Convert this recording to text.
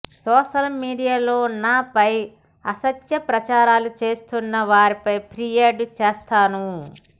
social మీడియాలో నాపై అసత్య ప్రచారాలు చేస్తున్న వారిపై ఫిర్యాదు చేస్తాను